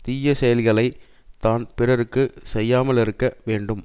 தீய செயல்களை தான் பிறருக்கு செய்யாமலிருக்க வேண்டும்